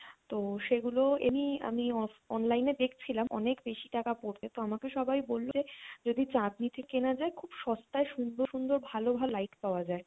তো সেগুলো এমনি আমি off~ online এ দেখছিলাম অনেক বেশি টাকা পড়বে তো আমাকে সবাই বললো যে যদি চাঁদনী তে কেনা যায় খুব সস্তায় সুন্দর সুন্দর ভালো ভালো light পাওয়া যায়,